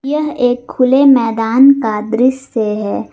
यह एक खुले मैदान का दृश्य है।